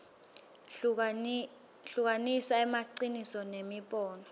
hlukanisa emaciniso nemibono